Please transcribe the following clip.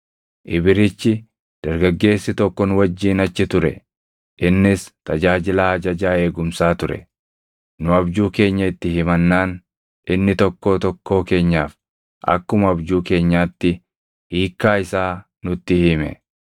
Ibrichi dargaggeessi tokko nu wajjin achi ture; innis tajaajilaa ajajaa eegumsaa ture. Nu abjuu keenya itti himannaan inni tokkoo tokkoo keenyaaf akkuma abjuu keenyaatti hiikkaa isaa nutti hime.